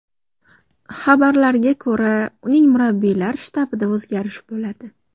Xabarlarga ko‘ra, uning murabbiylar shtabida o‘zgarish bo‘ladi.